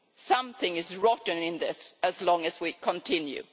Something is rotten in this as long as we continue.